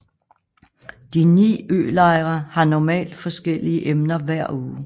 De ni ølejre har normalt forskellige emner hver uge